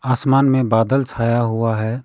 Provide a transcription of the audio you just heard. आसमान में बादल छाया हुआ है।